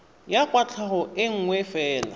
ya kwatlhao e nngwe fela